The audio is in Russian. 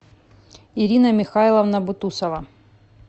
ирина михайловна бутусова